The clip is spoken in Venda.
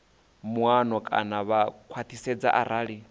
muano kana vha khwathisedza arali